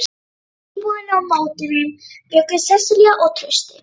Í íbúðinni á móti þeim bjuggu Sesselía og Trausti.